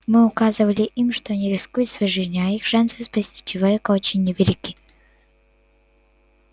мы указывали им что они рискуют своей жизнью а их шансы спасти человека очень невелики